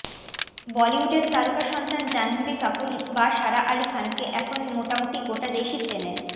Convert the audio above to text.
বলিউডের তারকা সন্তান জাহ্নবী কপূর বা সারা আলি খানকে এখন মোটামুটি গোটা দেশই চেনে